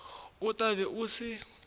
o tla be o se